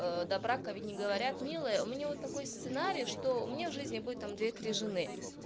до брака ведь не говорят милая у меня вот такой сценарий что у меня в жизни будет там две три жены